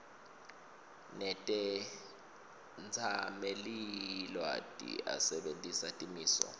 netetsamelilwati asebentisa timiso